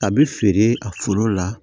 A bɛ feere a foro la